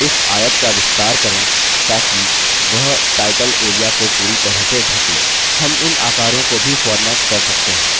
इस आयत का विस्तार करें ताकि वह टाइटल area को पूरी तरह से ढ़क ले